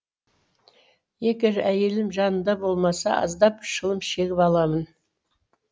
егер әйелім жанымда болмаса аздап шылым шегіп аламын